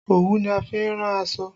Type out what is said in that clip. Òwú ni a fi ń rán aṣọ